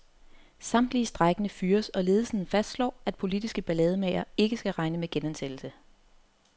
Samtlige strejkende fyres, og ledelsen fastslår, at politiske ballademagere, ikke skal regne med genansættelse.